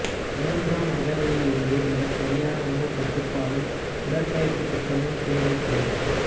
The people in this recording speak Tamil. மூன்றாம் அகவையில் இருந்தே மிகச் சரியான உணவுக் கட்டுபாடும் உடற்பயிற்சித் திட்டமும் தேவைப்படும்